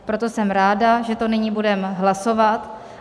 Proto jsem ráda, že to nyní budeme hlasovat.